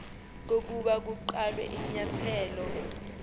kokuba kuqalwe inyathelo